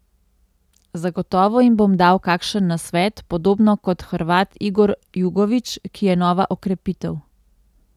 Zagotovo jim bom dal kakšen nasvet, podobno kot Hrvat Igor Jugović, ki je nova okrepitev.